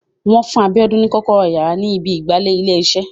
Wọ́n fún Abíọ́lá ní kọ́kọ́rọ́ yàrá ni ibi ìgbàlè ò ilé iṣẹ́